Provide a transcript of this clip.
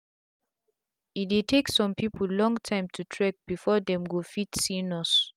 e dey take sum pipu long tym to trek before dem go fit see nurse